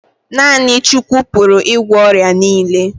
Naa6ni Chukwu pụrụ ị gwọ ọrịa niile